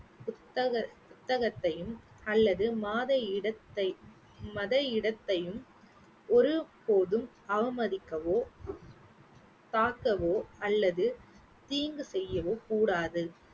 புத்தக~ புத்தகத்தையும் அல்லது மாத இடத்தை மத இடத்தையும் ஒரு போதும் அவமதிக்கவோ தாக்கவோ அல்லது தீங்கு செய்யவோ கூடாது